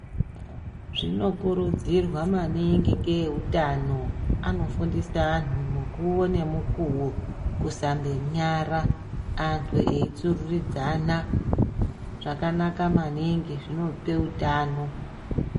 zvinokuridzirwa maningi ngeeutano anofundise anhu mukuwo nemukuwo kusandonyara antu eitsururidzana zvakanaka maningi zvinope utano.